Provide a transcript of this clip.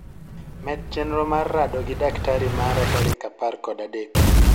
Med chenro mar rado gi daktari mara tarik apar kod adek